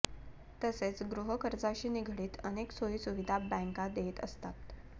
तसेच गृहकर्जाशी निगडीत अनेक सोयी सुविधा बँका देत असतात